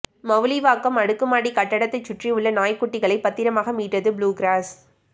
மவுலிவாக்கம் அடுக்குமாடி கட்டடத்தை சுற்றியுள்ள நாய் குட்டிகளை பத்திரமாக மீட்டது புளுகிராஸ்